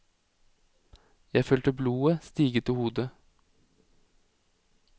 Jeg følte blodet stige til hodet.